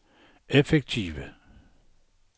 effektive